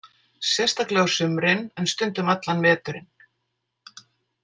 Sérstaklega á sumrin en stundum allan veturinn.